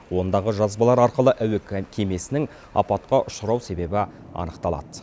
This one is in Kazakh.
ондағы жазбалар арқылы әуе кемесінің апатқа ұшырау себебі анықталады